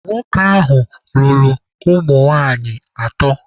Nwoke ahụ lụrụ ụmụ nwaanyị atọ.